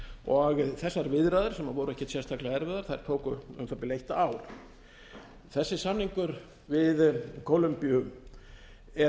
og þessar viðræður sem voru ekkert sérstaklega erfiðar tóku um það bil eitt ár þessi samningur við kólombíu er